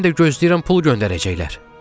Mən də gözləyirəm pul göndərəcəklər.